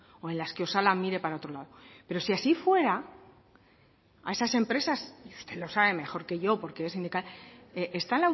o en las que osalan mire para otro lado pero si así fuera a esas empresas y usted lo sabe mejor que yo porque es sindical está